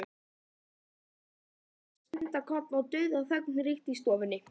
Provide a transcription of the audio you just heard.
Kamilla pírði augun eitt stundarkorn og dauðaþögn ríkti í stofunni.